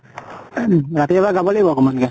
ing ৰাতি এবাৰ গাব লাগিব অকমান কে।